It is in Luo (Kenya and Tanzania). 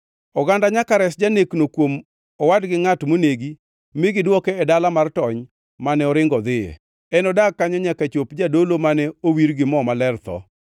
Oganda nyaka res janekno kuom owad gi ngʼat monegi mi gidwoke e dala mar tony mane oringo odhiye. Enodag kanyo nyaka chop jadolo mane owir gi mo maler tho.